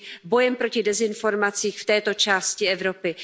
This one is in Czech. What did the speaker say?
bojem proti dezinformacím v této části Evropy.